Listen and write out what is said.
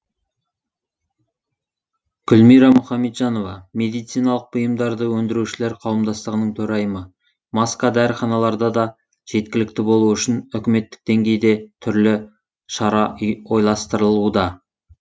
гүлмира мұхамеджанова медициналық бұйымдарды өндірушілер қауымдастығының төрайымы маска дәріханаларда да жеткілікті болуы үшін үкіметтік деңгейде түрлі шара ойластырылуда